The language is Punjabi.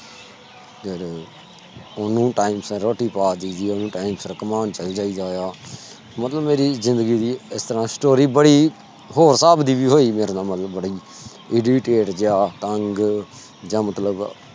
ਓਹਨੂੰ ਵੀ time ਸਰ ਰੋਟੀ ਪਾ ਦੇਇ ਦੀ ਆ ਸਰ ਕੁਮੌਣ ਚਲ ਜਾਇ ਦਾ ਆ ਮਤਲਬ ਮੇਰੀ ਜਿੰਦਗੀ ਦੀ ਇਸ ਤਰਾਂ story ਬੜੀ ਹੋਰ ਸਾਬ ਦੀ ਹੋਈ ਮੇਰੇ ਨਾਲ ਮਤਲਬ irritate ਜਾ ਤੰਗ ਜਾ ਮਤਲਬ